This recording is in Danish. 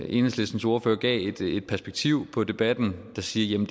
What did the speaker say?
enhedslistens ordfører gav et perspektiv på debatten der siger at